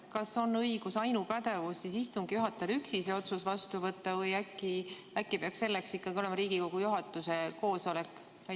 Kas on õigus, ainupädevus istungi juhatajal üksi see otsus vastu võtta või äkki peaks selleks olema Riigikogu juhatuse koosolek?